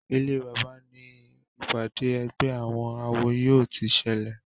Ilé bàbá ní ìpàdé ègbé àwọn àwo yóò tí ṣẹlẹ.